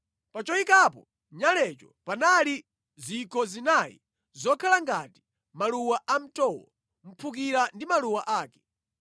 Pa choyikapo nyalecho panali zikho zinayi zokhala ngati maluwa amtowo, mphukira ndi maluwa ake.